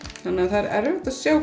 það er erfitt að sjá